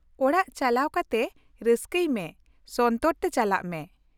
ᱚᱲᱟᱜ ᱪᱟᱠᱟᱣ ᱠᱟᱛᱮ ᱨᱟᱹᱥᱠᱟᱹᱭ ᱢᱮ, ᱥᱚᱱᱛᱚᱨ ᱛᱮ ᱪᱟᱞᱟᱜ ᱢᱮ ᱾